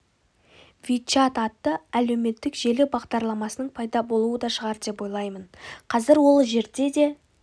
вичат атты әлеуметтік желі бағдарламасының пайда болуы да шығар деп ойлаймын қазір ол жерде де